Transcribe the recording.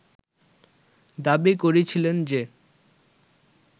দাবি করেছিলেন যে